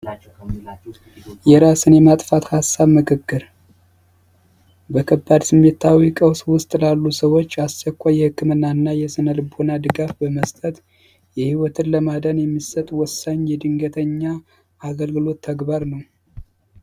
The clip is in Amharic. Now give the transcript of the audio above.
የራስን የማጥፋት ሀሳብ ምክክር ስሜታዊ ቀውስ ውስጥ ላሉ ሰዎች የህክምና እና የስነ ልቦና ድጋፍ በመስጠት የይወትን ለማዳን የሚሰጡ ወሳኝ የድንገተኛ አገልግሎት ተግባር ነው